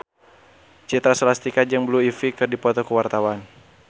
Citra Scholastika jeung Blue Ivy keur dipoto ku wartawan